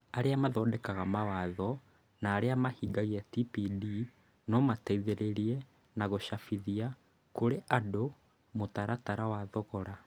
Arĩa mathondekaga mawatho and aria mahingagia TPD no mateithĩrĩrie na gũcabithia kũrĩ andu mũtaratara wa thogora.